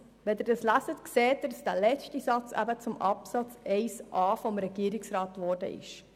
Wenn Sie das lesen, sehen Sie, dass der letzte Satz zum Absatz 1a des Regierungsantrags geworden ist.